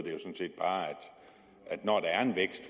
at når der er en vækst